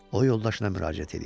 O yoldaşına müraciət eləyir.